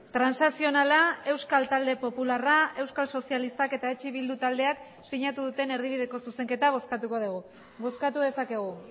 transakzionala euskal talde popularra euskal sozialistak eta eh bildu taldeak sinatu duten erdibideko zuzenketa bozkatuko dugu bozkatu dezakegu